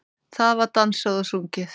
Það var dansað og sungið.